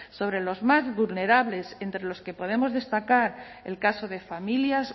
sobre los más vulnerables entre los que podemos destacar el caso de familias